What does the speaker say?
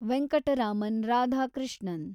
Venkataraman Radhakrishnan